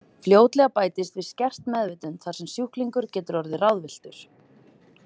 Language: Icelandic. Fljótlega bætist við skert meðvitund þar sem sjúklingur getur orðið ráðvilltur.